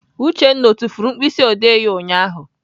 Uchenna ọ tufuru mkpịsịodee ya ụnyaahụ?